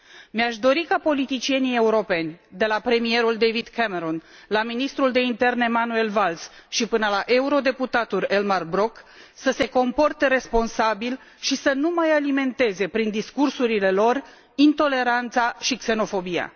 Mi aș dori ca politicienii europeni, de la premierul David Cameron, la ministrul de interne Manuel Valls și până la eurodeputatul Elmar Brok, să se comporte responsabil și să nu mai alimenteze, prin discursurile lor, intoleranța și xenofobia.